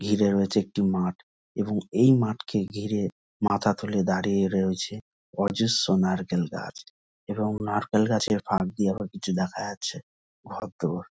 ঘিরে রয়েচে একটি মাঠ এবং এই মাঠকে ঘিরে মাথা তুলে দাঁড়িয়ে রয়েছে অজস্র নারকেল গাছ এবং নারকেল গাছের ফাক দিয়ে দেখা যাচ্ছে ঘরদোর।